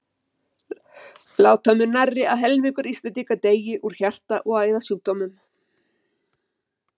Láta mun nærri að helmingur Íslendinga deyi úr hjarta- og æðasjúkdómum.